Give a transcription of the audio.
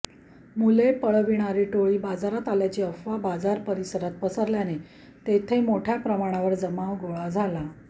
मुले पळवणारी टोळी बाजारात आल्याची अफवा बाजार परिसरात पसरल्याने तेथे मोठ्या प्रमाणावर जमाव गोळा झाला